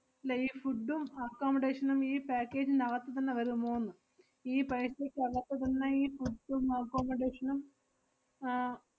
~ല്ല ഈ food ഉം accomodation ഉം ഈ package നകത്തു തന്നെ വരുമോന്ന്? ഈ paisa ക്ക് അകത്തു തന്നെ ഈ food ഉം accomodation ഉം ആഹ്